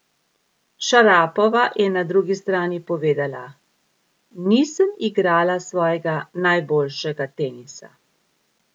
Šarapova je na drugi strani povedala: "Nisem igrala svojega najboljšega tenisa.